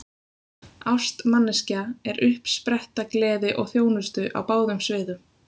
Ást manneskja er uppspretta gleði og þjónustu á báðum sviðum.